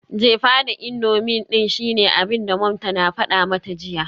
Jefa da indomie din shine abinda mom tana fada mata jiya.